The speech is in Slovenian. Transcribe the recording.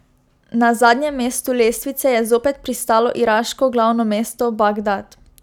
Na zadnjem mestu lestvice je zopet pristalo iraško glavno mesto Bagdad.